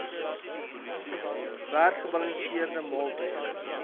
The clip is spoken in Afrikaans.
werd gebalanseerde maaltye